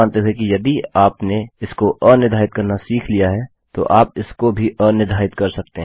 यह मानते हुए कि यदि आपने इसो अनिर्धारित करना सीख लिया है तो आप इसको भी अनिर्धारित कर सकते हैं